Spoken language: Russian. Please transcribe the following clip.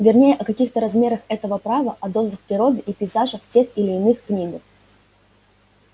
вернее о каких-то размерах этого права о дозах природы и пейзажа в тех или иных книгах